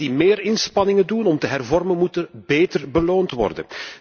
Landen die meer inspanningen doen om te hervormen, moeten beter beloond worden.